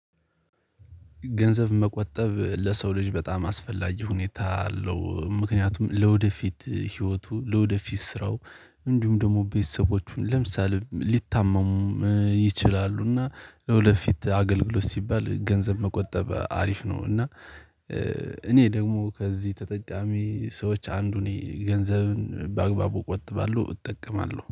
ገንዘብ መቆጠብ ለሰው ልጅ በጣም አስፈላጊ ሁኔታ አለው። ምክንያቱም ለወደፊት ህይወቱ ለወደፊት ስራው እንዲሁም ደግሞ ቤተሰቦቹን ለምሳሌ ሊታመሙ ይችላሉ፤ እና ለወደፊት አገልግሎት ሲባል ገንዘብ መቆጠብ አሪፍ ነው። እና እኔ ደግሞ ከዚህ ተጠቃሚ ሰዎች አንዱን ነኝ። ገንዘብን በአግባቡ እቆጥባለሁ እጠቀማለሁ።